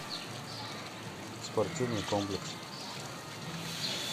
спортивный комплекс